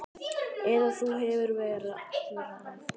Eða þú hefur verra af